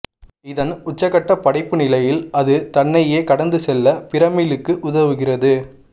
இ தன் உச்சகட்டப் படைப்புநிலையில் அது தன்னையே கடந்துசெல்ல பிரமிளுக்கு உதவுகிறது